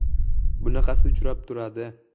Bunaqasi uchrab turadi.